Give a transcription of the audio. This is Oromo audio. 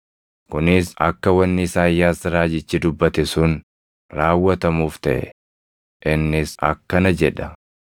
Kunis akka wanni Isaayyaas raajichi dubbate sun raawwatamuuf taʼe; innis akkana jedha: